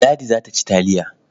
Ladi za ta ci taliya.